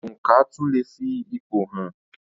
Oǹkà tún leè fi ipò hàn.